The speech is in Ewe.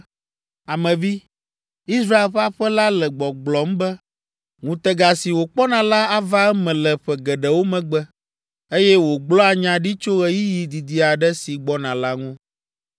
“Ame vi, Israel ƒe aƒe la le gbɔgblɔm be, ‘Ŋutega si wòkpɔna la ava eme le ƒe geɖewo megbe, eye wògblɔa nya ɖi tso ɣeyiɣi didi aɖe si gbɔna la ŋu.’